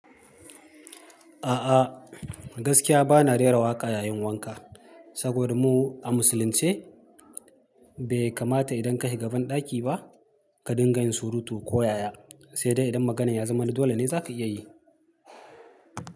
A'a, gaskiya ba na rera waƙa yayin wanka, saboda mu a musulunce bai kamata idan ka shiga banɗaki ba ka dinga yin surutu ko ya-ya, sai dai idan maganar ya zama dole ne za ka iya yi.